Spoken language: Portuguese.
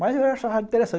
Mas eu achava interessante.